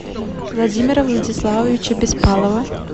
владимира владиславовича беспалова